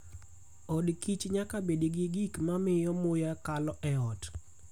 Od kich nyaka bed gi gik ma miyo muya kal e ot.